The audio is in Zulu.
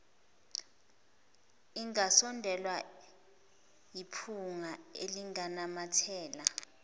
ingasondelwa yiphunga elinganamathela